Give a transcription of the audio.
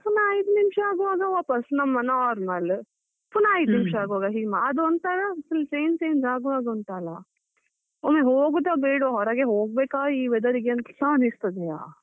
ಪುನ ಐದು ನಿಮಿಷ ಆಗುವಾಗ ವಾಪಾಸ್ ನಮ್ಮ normal ,ಪುನ ಐದು ನಿಮಿಷ ಆಗುವಾಗ ಹಿಮ, ಅದು ಒಂಥರಾ full change change ಆಗುವಾ ಉಂಟಲ್ಲ ಒಮ್ಮೆ ಹೋಗುದ ಬೇಡ್ವಾ ಈ weather ಗೆ ಒರಗೆ ಹೋಗ್ಬೇಕಾ ಅನಿಸ್ತದೆಯಾ.